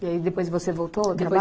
E aí depois você voltou ao